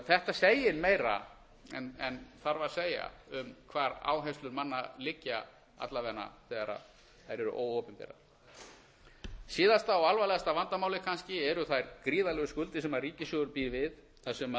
þetta segir meira en þarf að segja um hvar áherslur manna liggja alla vega þegar þær eru óopinberar síðasta og alvarlegasta vandamálið kannski eru þær gríðarlegu skuldir sem ríkissjóður býr við þar